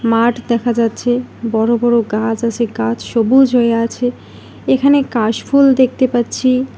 মাঠ দেখা যাচ্ছে বড়ো বড়ো গাছ আছে গাছ সবুজ হয়ে আছে এখানে কাশফুল দেখতে পাচ্ছি।